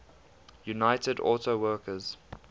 united auto workers